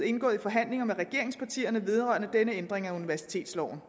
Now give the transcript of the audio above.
indgået i forhandlinger med regeringspartierne vedrørende denne ændring af universitetsloven